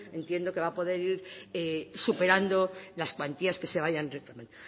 entiendo que va a poder ir superando las cuantías que vayan